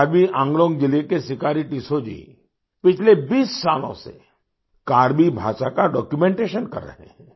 करबी एंगलांग जिले के सिकारी टिस्सौ जी पिछले 20 सालों से करबी भाषा का डॉक्यूमेंटेशन कर रहे हैं